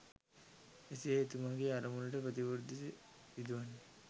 එසේ එතුමාගේ අරමුණට ප්‍රතිවිරුද්ධ දේ සිදුවන්නේ